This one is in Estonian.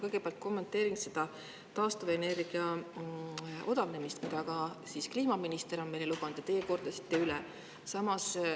Kõigepealt kommenteerin seda taastuvenergia odavnemist, mida ka kliimaminister on meile lubanud ja teie kordasite üle.